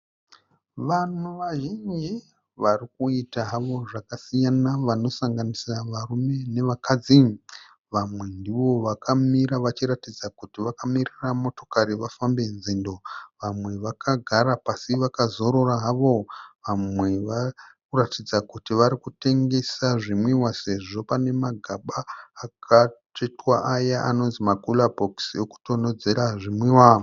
Vanhu vazhinji varikuita havo zvakasiyana vanosanganisira varume nevakadzi. Vamwe ndivo vakamira vachiratidza kuti vakamirira motokari vafambe nzendo, vamwe vakagara pasi vakazorora havo, vamwe varikuratidza kuti varikutengesa zvinwiwa sezvo pane magaba akatsvetwa aya anonzi makura bhokisi ekutonhodzera zvinwiwa